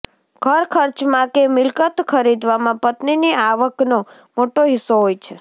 ઘર ખર્ચમાં કે મિલકત ખરીદવામાં પત્નીની આવકનો મોટો હિસ્સો હોય છે